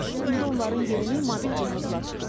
İndi onların yerini mobil cihazlar tutub.